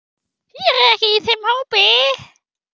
Ég er ekki í þeim hópi.